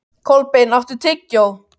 Kolbeinn, áttu tyggjó?